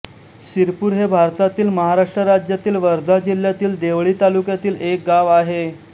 सिरपूर हे भारतातील महाराष्ट्र राज्यातील वर्धा जिल्ह्यातील देवळी तालुक्यातील एक गाव आहे